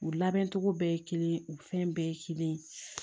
U labɛncogo bɛɛ ye kelen ye u fɛn bɛɛ ye kelen ye